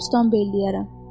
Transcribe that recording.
Bostan beylərəm.